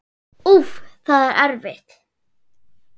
Úff, það er erfitt.